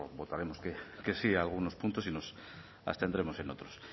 votaremos que sí a algunos puntos y nos abstendremos en otros